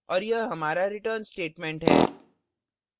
और यह हमारा return statement है